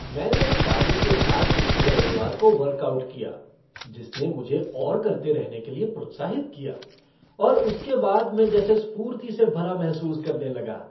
मैंने एक साथी के साथ पिछले रविवार को वर्कआउट किया जिसने मुझे और करते रहने के लिए प्रोत्साहित किया और उसके बाद मैं जैसे स्फूर्ति से भरा महसूस करने लगा।